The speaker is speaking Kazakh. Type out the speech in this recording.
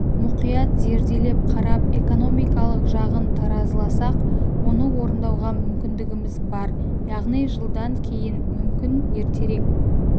мұқият зерделеп қарап экономикалық жағын таразыласақ оны орындауға мүмкіндігіміз бар яғни жылдан кейін мүмкін ертерек